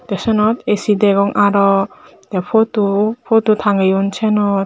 tey syenot A_C degong aro tey photo photo tanggeyun syenot.